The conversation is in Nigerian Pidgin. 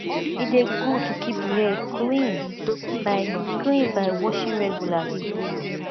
e de good to keep di hair clean by clean by washing regularly